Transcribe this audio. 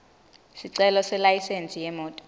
sicelo selayisensi yemoti